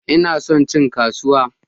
Ina son cin kasuwa